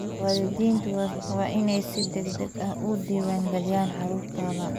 Waalidiintu waa inay si degdeg ah u diwaan galiyaan carruurtooda.